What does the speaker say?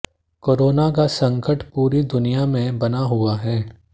corona का संकट पूरी दुनिया में बना हुआ है